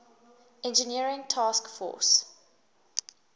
engineering task force